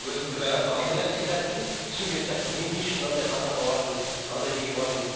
кінәсін түсінген сияқты мен не үшін мынандай қадамға бардым мынандай неге бардым